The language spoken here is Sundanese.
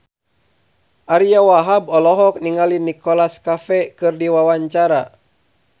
Ariyo Wahab olohok ningali Nicholas Cafe keur diwawancara